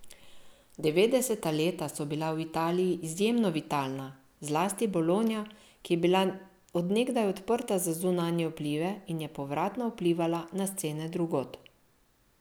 Devetdeseta leta so bila v Italiji izjemno vitalna, zlasti Bologna, ki je bila od nekdaj odprta za zunanje vplive in je povratno vplivala na scene drugod.